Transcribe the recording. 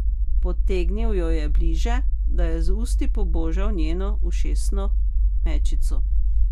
Potegnil jo je bliže, da je z usti pobožal njeno ušesno mečico.